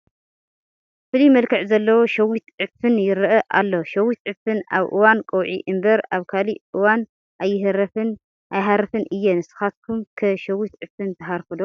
ፍሉይ መልክዕ ዘለዎ ሸዊት ዕፉን ይርአ ኣሎ፡፡ ሸዊት ዕፉን ኣብ እዋን ቀውዒ እምበር ኣብ ካልእ እዋን ኣይሃርፍን እየ፡፡ ንስኻትኩም ከ ሸዊት ዕፉን ትሃርፉ ዶ?